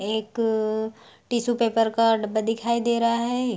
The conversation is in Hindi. एक टिस्सू पेपर का डब्बा दिखाई दे रहा है ।